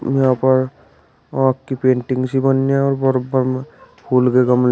यहां पर आंख की पेंटिंग सी बन्नी है और बर्बर में फूल के गम--